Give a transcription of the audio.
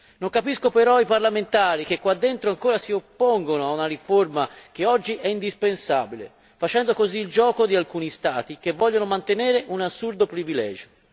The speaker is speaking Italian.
Non capisco però quei parlamentari che ancora si oppongono a una riforma oggi indispensabile, facendo così il gioco di alcuni Stati che vogliono mantenere un assurdo privilegio.